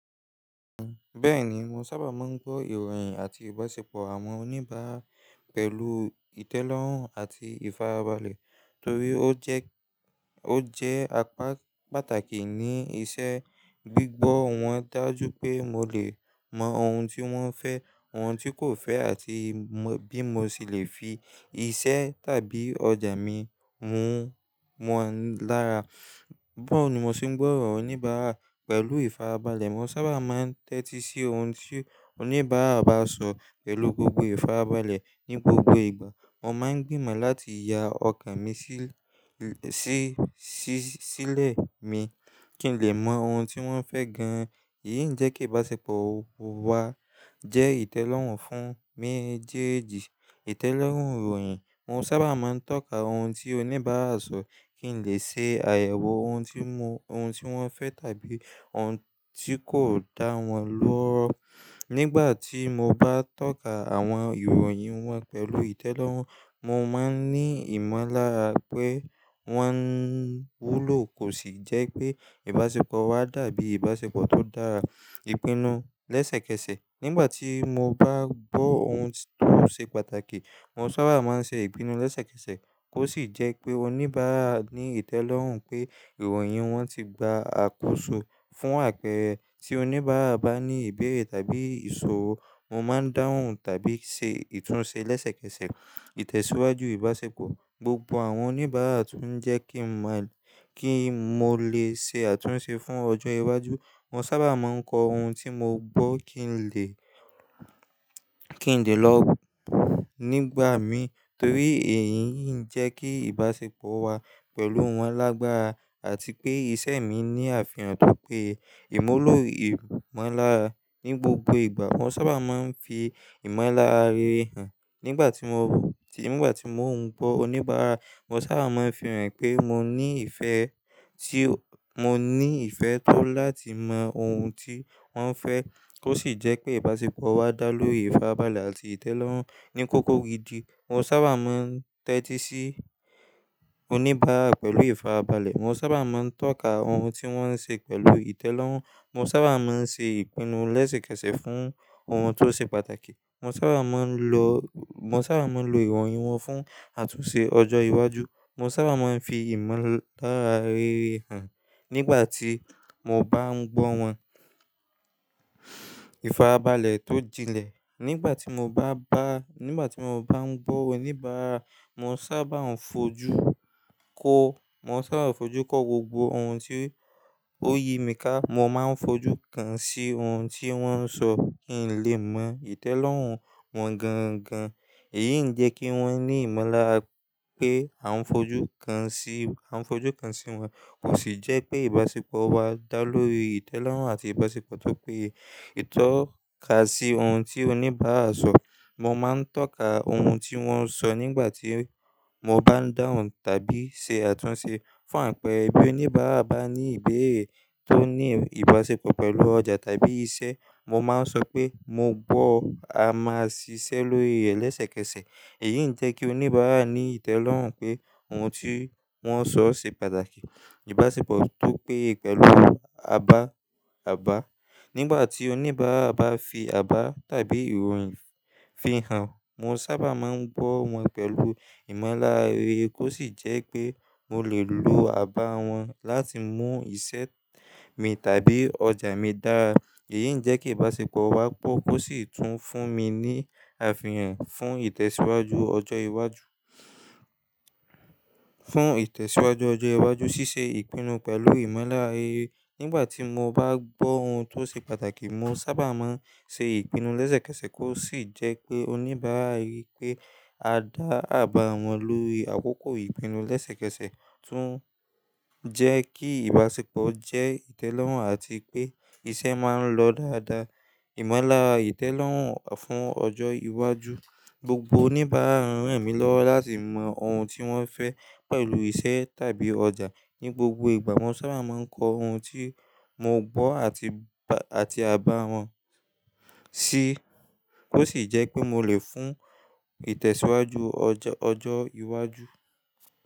Bẹ́ẹ̀ni, mo sábà máa ń gbọ́ ìròyìn àti ìbáṣepọ̀ àwọn oníbàárà pẹ̀lú ìtẹ́lọ́rùn àti ìfarabalẹ̀ torí ó jẹ́, ó jẹ́ apá pàtàkì ní iṣẹ́ gbígbọ́ wọn dájú pé mo lè mọ ohun tí wọ́n fẹ́, ohun tí kò fẹ́ àti bí mo ṣì le fi iṣẹ́ tàbí ọjà mi mú wọn lára. Bá wo ni mo se ń gbọ́ ìròyìn oníbàárà pẹ̀lú ìfarabalẹ̀. Mo sábà máa ń tẹ́tí sí ohun tí oníbàárà bá sọ pẹ̀lú gbogbo ìfarabalẹ̀ ní gbogbo ìgbà. Mo máa ń gbìmọ̀ láti ya ọkàn mi sí, sí, sí, sílẹ̀ mi kí n lè mọ ohun tí wọ́n fẹ́ gan-an. Èyí ń jẹ́ kí ìbáṣepọ̀ wa jẹ́ ìtẹ́lọ́rùn fún mi díẹ̀díẹ̀. Ìtẹ́lọ́rùn ìròyìn, mo sábà máa ń tọ́ka ohun tí oníbàárà sọ kí n lè ṣe àyẹ̀wò ohun tí mo, ohun tí wọ́n fẹ́ tàbí ohun tí kò dá wọn lọ́wọ́. Nígbà tí mo bá tọ́ka àwọn ìròyìn wọn pẹ̀lú ìtẹ́lọ́rùn, mo máa ń ní ìmọ̀lára pé wọn wúlò kó sì jẹ́ pé ìbáṣepọ̀ wa dàbí ìbáṣepọ̀ tó dára. Ìpinnu lẹ́sẹ̀kẹsẹ̀, nígbà tí mo bá gbọ́ ohun tó ṣe pàtàkì, mo sábà máa ń ṣe ìpinnu lẹ́sẹ̀kẹsẹ̀ kó sì jẹ́ pé oníbàárà ní ìtẹ́lọ́rùn pé ìròyìn wọn ti gba àkóso. Fún àpẹẹrẹ, tí oníbàárà bá ní ìbéèrè tàbí ìṣòro, mo máa ń dáhùn tàbí ṣe ìtúnṣe lẹ́sẹ̀kẹsẹ̀. Ìtẹ̀síwájú ìbáṣepọ̀, gbogbo àwọn oníbàárà tún jẹ́ kí mo lè ṣe àtúnṣe fún ọjọ́ iwájú. Mo sábà máa ń kọ ohun tí mo gbọ́ kí n lè, kí n lè lọ nígbà mi torí èyí ń jẹ́ kí ìbáṣepọ̀ wa pẹ̀lú wọn lágbára àti pé iṣẹ́ mi ní àfihàn tó pé ìmú ló ìmọ̀lára. Ni gbogbo ìgbà, mo sábà máa ń fi ìmọ̀lára rere hàn nígbà tí mo ń gbọ́ oníbàárà. Mo sábà máa ń fi hàn pé mo ní ìfẹ́ tí, mo ní ìfẹ́ tó láti mọ ohun tí wọ́n fẹ́ kó sì jẹ́ pé ìbáṣepọ̀ wa dá lóri ìfarabalẹ̀ àti ìtẹ́lọ́rùn. Ni kókó gidi, mo sábà máa ń tẹ́tí sí oníbàárà pẹ̀lú ìfarabalẹ̀. Mo sábà máa ń tọ́ka ohun tí wọ́n ń ṣe pẹ̀lú ìtẹ́lọ́rùn. Mo sábà máa ń ṣe ìpinnu lẹ́sẹ̀kẹsẹ̀ fún ohun tó ṣe pàtàkì. Mo sábà máa ń lo, mo sábà máa ń lo ìròyìn wọn fún àtúnṣe ọjọ́ iwájú. Mo sábà máa ń fi ìmọ̀lára rere hàn nígbà tí mo bá ń gbọ́ wọn. Ìfarabalẹ̀ tó jinlẹ̀, nígbà tí mo bá ń gbọ́ oníbàárà, mo sábà ń fojú kó, mo sábà ń fojú kó gbogbo ohun tí ó yi mí ká. Mo máa ń fojú kan sí ohun tí wọ́n ń sọ kí n lè mọ ìtẹ́lọ́rùn wọn gan-an gan-an. Èyí ń jẹ́ kí wọ́n ní ìmọ̀lára pé à ń fojú kan sí, à ń fojú kan sí wọn kó sì jẹ́ pé ìbáṣepọ̀ wa dá lóri ìtẹ́lọ́rùn àti ìbáṣepọ̀ tó péye. Ìtọ́ka sí ohun tí oníbàárà sọ, mo máa ń tọ́ka ohun tí wọ́n ń sọ nígbà tí mo bá ń dáhùn tàbí ṣe àtúnṣe. Fún àpẹẹrẹ, bí oníbàárà bá ní ìbéèrè tó ní ìbáṣepọ̀ pẹ̀lú ọjà tàbí iṣẹ́, mo máa ń sọ pé mo gbọ́, a máa ṣiṣẹ́ lórí ẹ̀ lẹ́sẹ̀kẹsẹ̀. Èyí ń jẹ́ kí oníbàárà ní ìtẹ́lọ́rùn pé ohun tí wọ́n sọ ṣe pàtàkì. Ìbáṣepọ̀ tó péye pẹ̀lú abá, àbá, nígbà tí oníbàárà bá fi àbá tàbí ìròyìn fihàn, mo sábà máa ń gbọ́ wọn pẹ̀lú ìmọ̀lára rere kó sì jẹ́ pé mo lè lo àbá wọn láti mú iṣẹ́ mi tàbí ọjà mi dára. Èyí ń jẹ́ kí ìbáṣepọ̀ wa gbó kó sì tún fún mi ní àfihàn fún ìtẹ̀síwájú ọjọ́ iwájú, fún ìtẹ̀síwájú ọjọ́ iwájú. Ṣíṣe ìpinnu pẹ̀lú ìmọ̀lára rere, nígbà tí mo bá gbọ́ ohun tó ṣe pàtàkì, mo sábà máa ń ṣe ìpinnu lẹ́sẹ̀kẹsẹ̀ kó sì jẹ́ pé oníbàárà rí pé a dá àbá wọn lórí àkókò ìpinnu lẹ́sẹ̀kẹsẹ̀ tún jẹ́ kí ìbáṣepọ̀ jẹ́ ìtẹ́lọ́rùn àti pé iṣẹ́ máa ń lọ dáadáa. Ìmọ̀lára ìtẹ́lọ́rùn fún ọjọ́ iwájú, gbogbo oníbàárà ń rẹ̀ mí lọ́wọ́ láti mọ ohun tí wọ́n fẹ́ pẹ̀lú iṣẹ́ tàbí ọjà. Ni gbogbo ìgbà, mo sábà máa ń kọ ohun tí mo gbọ́ àti, àti àbá wọn sí kó sì jẹ́ pé mo lè fún ìtẹ̀síwájú ọjọ́, ọjọ́ iwájú.